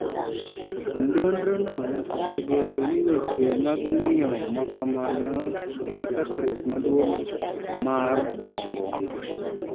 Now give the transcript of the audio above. Nonro no osegolo ni weche mag ng'iyo makamano ni gi kethruok maduong mar obuongo